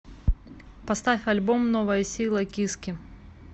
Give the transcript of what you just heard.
поставь альбом новая сила киски